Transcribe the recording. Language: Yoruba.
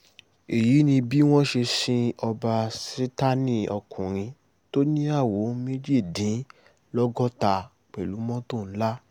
èyí ni bí wọ́n ṣe ṣin ọba sátánìọ́kùnrin tó níyàwó méjìdínlọ́gọ́ta pẹ̀lú mọ́tò ńlá